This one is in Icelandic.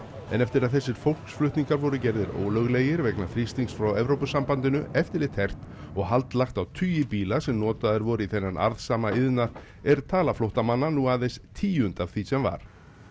en eftir að þessir fólksflutningar voru gerðir ólöglegir vegna þrýstings frá Evrópusambandinu eftirlit hert og hald lagt á tugi bíla sem notaðir voru í þennan arðsama iðnað er tala flóttamanna nú aðeins tíund af því sem var